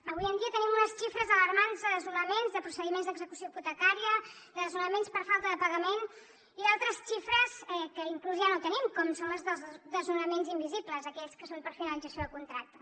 avui en dia tenim unes xifres alarmants de desnonaments de procediments d’execució hipotecària de desnonaments per falta de pagament i altres xifres que inclús ja no tenim com són les dels desnonaments invisibles aquells que són per finalització de contracte